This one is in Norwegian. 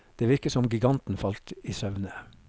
Det virket som giganten falt i søvne.